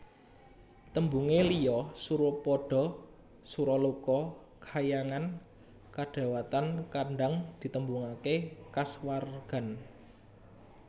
Tembunge liya Surapada Suraloka Kahyangan kadewatan kadhang ditembungaké kaswargan